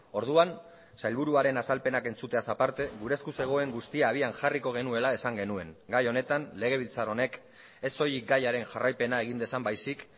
orduan sailburuaren azalpenak entzuteaz aparte gure esku zegoen guztia abian jarriko genuela esan genuen gai honetan legebiltzar honek ez soilik gaiaren jarraipena egin dezan baizik